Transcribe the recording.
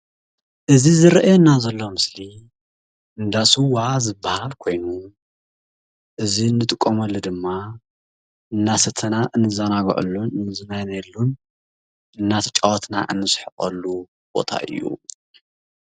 እዚ ዝርኣየና ዘሎ ምስሊ እንዳ ስዋ ዝብሃል ኮይኑ፤ እዚ ንጥቀመሉ ድማ እናሰተና እንዘናገዐሉ እንዝናነየሉን እናተጨወትና እንስሕቐሉ ቦታ እዩ።